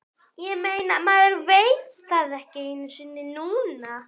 Ég meina, maður veit það ekki einu sinni núna.